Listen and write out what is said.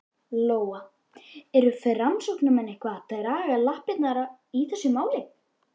Lóa: Eru framsóknarmenn eitthvað að draga lappirnar í þessu máli?